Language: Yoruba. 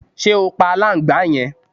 Ṣe o pa aláǹgbàá yẹn?